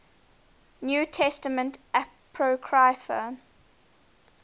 new testament apocrypha